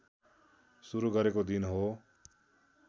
सुरू गरेको दिन हो